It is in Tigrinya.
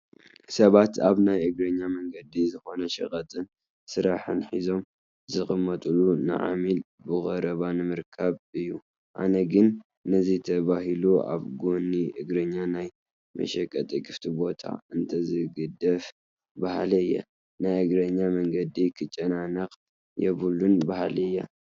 ሰባት ኣብ ናይ እግረኛ መንገዲ ዝኾነ ሸቐጥን ስራሕን ሒዞም ዝቕመጡ ንዓሚል ብቐረባ ንምርካብ እዩ፡፡ ኣነ ግን ነዚ ተባሂሉ ኣብ ጐኒ እግረኛ ናይ መሸቀጢ ክፍቲ ቦታ እንተዝግደፍ በሃሊ እየ፡፡ ናይ እግረኛ መንገዲ ክጨናነቕ የብሉን በሃሊ እየ፡፡